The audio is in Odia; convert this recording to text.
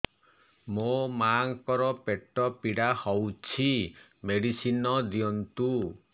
ମୋ ମାଆଙ୍କର ପେଟ ପୀଡା ହଉଛି ମେଡିସିନ ଦିଅନ୍ତୁ